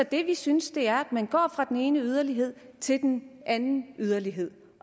det vi synes er at man går fra den ene yderlighed til den anden yderlighed